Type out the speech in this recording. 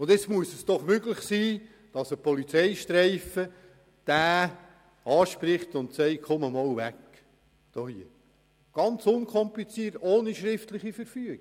Da muss es doch möglich sein, dass eine Polizeistreife den Mann anspricht und von der Gruppe entfernt – ganz unkompliziert und ohne schriftliche Verfügung.